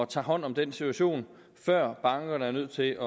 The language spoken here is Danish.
tager hånd om den situation før bankerne er nødt til